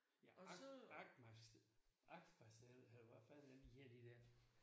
Ja Arfmanns eller hvad fanden er det de hedder de der